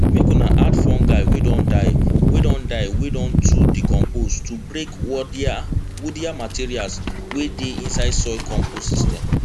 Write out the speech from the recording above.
make una add fungi wey don die wey don die wey don too decompose to break woodier materials wey dey inside soil compost system